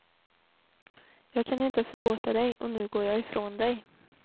Jag kan inte förlåta dig och nu går jag ifrån dig.